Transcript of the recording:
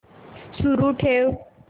सुरू ठेव